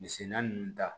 Misigɛnna ninnu ta